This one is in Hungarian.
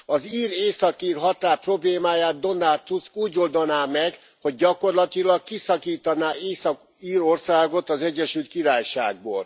Az ír északír határ problémáját Donald Tusk úgy oldaná meg, hogy gyakorlatilag kiszakítaná Észak Írországot az Egyesült Királyságból.